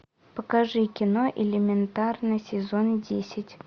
покажи кино элементарно сезон десять